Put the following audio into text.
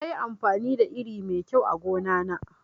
Nayi amfani da iri mai kyau a gona na